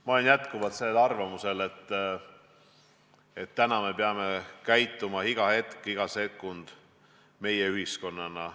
Ma olen endiselt arvamusel, et täna peame me käituma iga hetk, iga sekund meie-ühiskonnana.